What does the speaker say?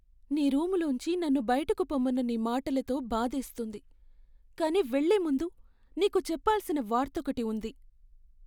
నీ రూములోంచి నన్ను బయటకు పొమ్మన్న నీ మాటలతో బాధేస్తుంది, కానీ వెళ్ళే ముందు నీకు చెప్పాల్సిన వార్తొకటి ఉంది.